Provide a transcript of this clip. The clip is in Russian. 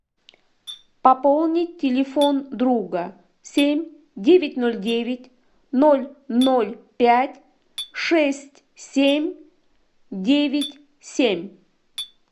пополнить телефон друга семь девять ноль девять ноль ноль пять шесть семь девять семь